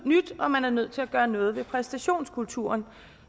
og man er nødt til at gøre noget ved præstationskulturen